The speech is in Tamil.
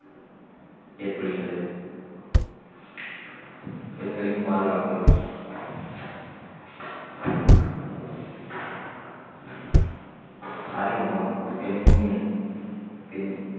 ஏற்படுகின்றது பெண்களின் பாதுகாப்பு அறிமுகம் பெண்ணின் பெண்